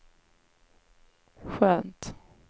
skönt